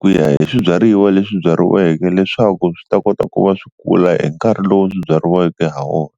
ku ya hi swibyariwa leswi byariweke leswaku swi ta kota ku va swi kula hi nkarhi lowu swi byariweke ha wona.